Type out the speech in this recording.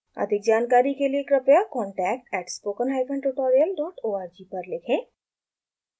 अधिक जानकारी के लिए कृपया contact at spoken hyphen tutorial dot org पर लिखें